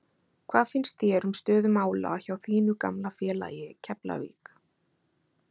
Hvað finnst þér um stöðu mála hjá þínu gamla félagi Keflavík?